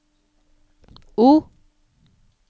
O